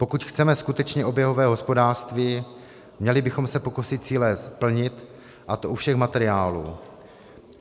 Pokud chceme skutečně oběhové hospodářství, měli bychom se pokusit cíle splnit, a to u všech materiálů.